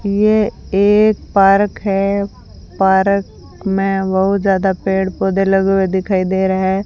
ये एक पार्क है पार्क में बहुत ज्यादा पेड़ पौधे लगे हुए दिखाई दे रहे हैं।